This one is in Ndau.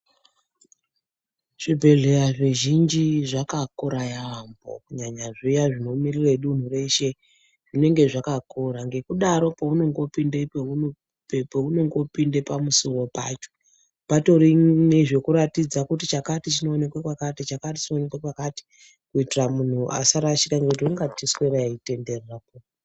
Zvibhedhlera zvizhinji zvakakura yaemho kunyanya zviya zvinomirira dunhu reshe zvinenge zvakakura ngekudaro peunode kupinde pamusiwo patori nezvekuratidza kuti chakati chinoonekwa kwakati chakati chinoonekwa kwakati kuitira munhu asarashika ngekuti ungaswera eitenderera.